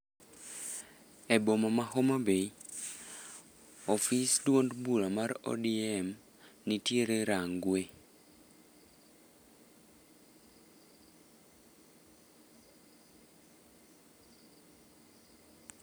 E boma ma Homa Bay, ofis duond bura mar ODM nitiere Rangwe.